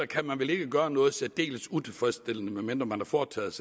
kan vel ikke gøre noget særdeles utilfredsstillende medmindre man har foretaget